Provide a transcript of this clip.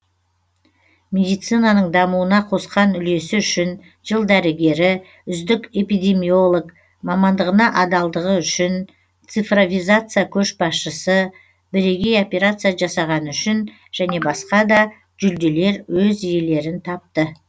медицинаның дамуына қосқан үлесі үшін жыл дәрігері үздік эпидемиолог мамандығына адалдығы үшін цифровизация көшбасшысы бірегей операция жасағаны үшін және басқа да жүлделер өз иелерін тапты